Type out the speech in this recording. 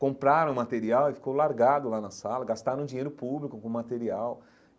Compraram o material e ficou largado lá na sala, gastaram dinheiro público com o material.